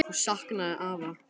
Hún saknaði afa.